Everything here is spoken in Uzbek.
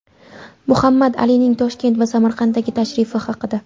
Muhammad Alining Toshkent va Samarqandga tashrifi haqida.